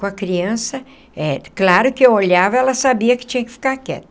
Com a criança eh, claro que eu olhava e ela sabia que tinha que ficar quieta.